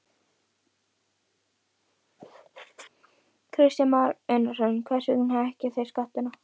Kristján Már Unnarsson: Hvers vegna hækkið þið skattana?